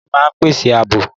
Ilé máa ń pèsè àbò